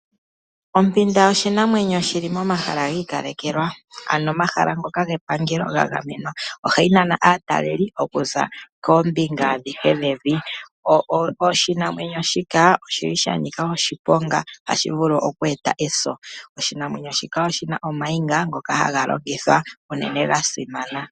Ompinda oshinamwenyo shili momahala gi ikalekelwa ano omahala ngoka gepangelo ga gamenwa. Ohayi nana aataleli okuza koombinga adhihe dhevi. Oshinamwenyo shika oshili shanika oshiponga otashi vulu oku eta eso. Oshinamwenyo shika oshina ooniga ndhoka hadhi longithwa unene dhasimana.